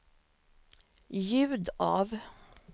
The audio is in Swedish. ljud av